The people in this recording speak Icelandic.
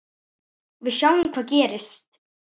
Við sjáum hvað gerist.